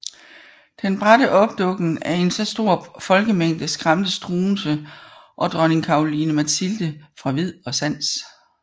Den bratte opdukken af en så stor folkemængde skræmte Struensee og dronning Caroline Mathilde fra vid og sans